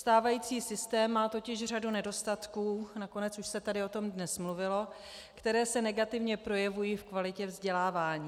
Stávající systém má totiž řadu nedostatků, nakonec už se tady o tom dnes mluvilo, které se negativně projevují v kvalitě vzdělávání.